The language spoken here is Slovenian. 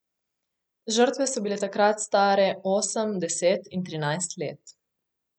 Žrtve so bile takrat stare osem, deset in trinajst let.